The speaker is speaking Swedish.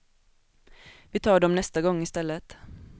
Vi tar dom nästa gång istället.